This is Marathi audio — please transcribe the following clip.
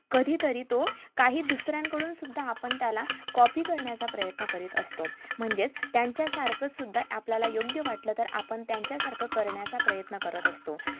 कधीतरी तो काही दुसऱ्यांकडून सुद्धा आपण त्याला copy करण्याचा प्रयत्न करीत असतो म्हणजेच त्यांचं सारखंच सुद्धा आपल्याला योग्य वाटलं तर आपण त्यांचं सारखं करण्याचं प्रयत्न करत असतो